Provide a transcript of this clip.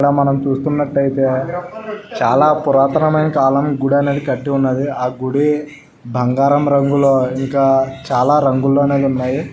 ఇక్కడ మనం చూస్తున్నట్టైతే చాలా పురాతనమైన కాలం గుడి అనేది కట్టి ఉంది ఆ గుడి బంగారం రంగులో ఇంకా చాలా రంగులోనే ఉంయీ.